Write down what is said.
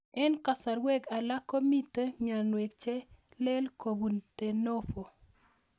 Eng'kasarwek alak ko mito mionwek che lel kopun de novo